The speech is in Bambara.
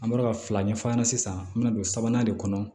An bɔra ka fila ɲɛfɔ a ɲɛna sisan an bɛna don sabanan de kɔnɔ